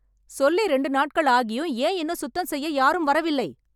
சொல்லி இரண்டு நாட்கள் ஆகியும் ஏன் இன்னும் சுத்தம் செய்ய யாரும் வரவில்லை?